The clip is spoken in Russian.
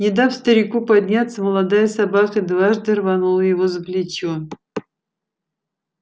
не дав старику подняться молодая собака дважды рванула его за плечо